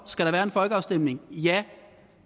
skal være en folkeafstemning ja